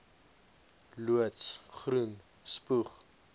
loods groen spoeg